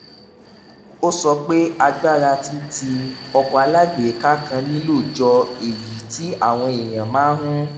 ó sọ pé agbára tí tí ọkọ̀ alágbèéká kan nílò jọ èyí tí àwọn èèyàn máa ń